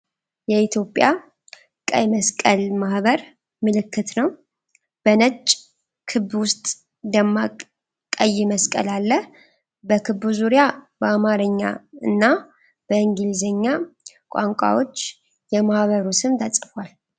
የኢትዮጵያ ቀይ መስቀል ማህበር ምልክት ነው፣ በነጭ ክብ ውስጥ ደማቅ ቀይ መስቀል አለ። በክቡ ዙሪያ በአማርኛ እና በእንግሊዝኛ ቋንቋዎች የማህበሩ ስም ተጽፏል።